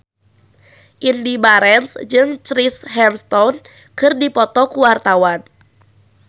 Indy Barens jeung Chris Hemsworth keur dipoto ku wartawan